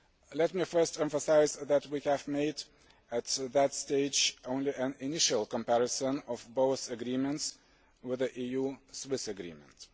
Let me first emphasise that we have made, at this stage, only an initial comparison of both agreements with the EU Swiss agreement.